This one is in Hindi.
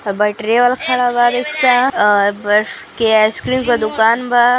बैटरी वाला खड़ा बा। रिक्शा के आइस क्रीम के दुकान बा।